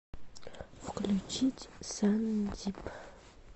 включить сандип